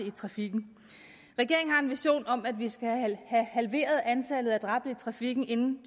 i trafikken regeringen har en vision om at vi skal have halveret antallet af dræbte i trafikken inden